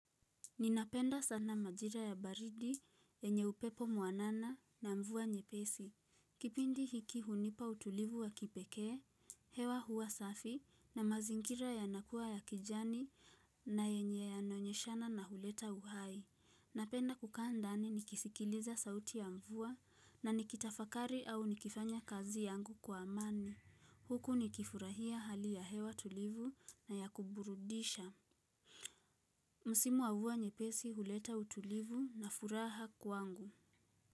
Ninapenda sana majira ya baridi yenye upepo mwanana na mvua nyepesi. Kipindi hiki hunipa utulivu wa kipekee, hewa hua safi na mazingira yanakua ya kijani na yenye yanaonyeshana na huleta uhai. Napenda kukaa ndani nikisikiliza sauti ya mvua na nikitafakari au nikifanya kazi yangu kwa amani. Huku nikifurahia hali ya hewa tulivu na ya kuburudisha. Msimu wa mvua nyepesi huleta utulivu na furaha kwangu.